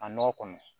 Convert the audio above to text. A nɔgɔ kɔni